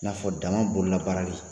I n'a fɔ daman bolola baarali